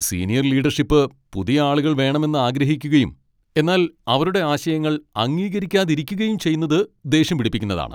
Senior leadership പുതിയ ആളുകൾ വേണമെന്ന് ആഗ്രഹിക്കുകയും എന്നാൽ അവരുടെ ആശയങ്ങൾ അംഗീകരിക്കാതിരിക്കുകയും ചെയ്യുന്നത് ദേഷ്യം പിടിപ്പിക്കുന്നതാണ് .